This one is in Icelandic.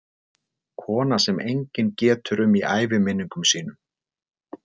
Kona sem enginn getur um í æviminningum sínum.